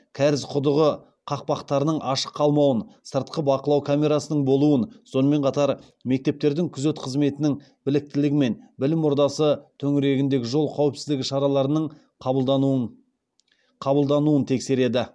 кәріз құдығы қақпақтарының ашық қалмауын сыртқы бақылау камерасының болуын сонымен қатар ектептердің күзет қызметінің біліктілігі мен білім ордасы төңірегіндегі жол қауіпсіздігі шараларының қабылдануын тексереді